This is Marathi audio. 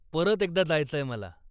परत एकदा जायचंय मला.